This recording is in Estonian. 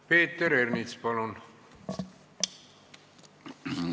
Peeter Ernits, palun!